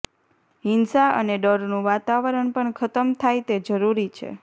હિંસા અને ડરનું વાતાવરણ પણ ખતમ થાય તે જરૂરી છે